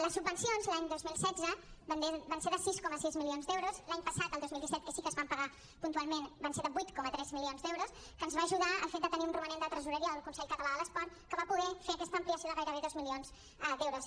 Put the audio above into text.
les subvencions l’any dos mil setze van ser de sis coma sis milions d’euros l’any passat el dos mil disset que sí que es van pagar puntualment van ser de vuit coma tres milions d’euros que ens va ajudar el fet de tenir un romanent de tresoreria del consell català de l’esport que va poder fer aquesta ampliació de gairebé dos milions d’euros